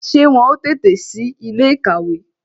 Ṣé wọn ó tètè si ilé ìkàwé